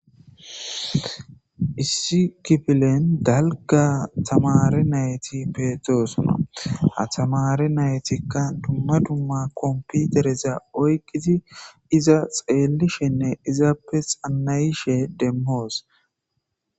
Issi kifilen dalga tamare nayti peetoosuna ha tamare naytikka dumma dumma komputereza oyqisi iza xeelishenne izaappe xanayishe demhoos